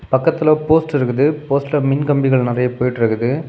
பக்கத்துல போஸ்ட் இருக்குது போஸ்ட்ல மின்கம்பிகள் நிறைய போயிட்ருக்குது.